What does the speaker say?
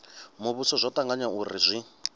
muvhuso zwo tanganywa uri zwi